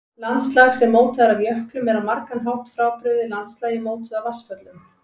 Landslag sem mótað er af jöklum er á margan hátt frábrugðið landslagi mótuðu af vatnsföllum.